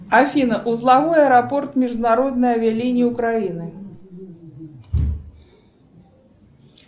афина узловой аэропорт международные авиалинии украины